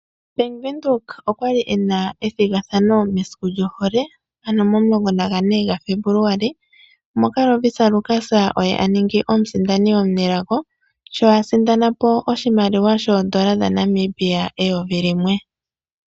Bank windhoek okwali ena ethigathano mesiku lyohole ano momulongo nagane ga febuluali moka Lovisa yaLukas oye aningi omusindani omunelago sho a sindana po oshimaliwa shondola dha Namibia eyovi limwe.